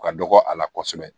U ka dɔgɔ a la kosɛbɛ